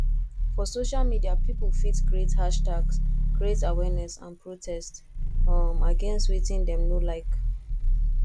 um for social media pipo fit create hashtags create awareness and protest um against wetin dem no like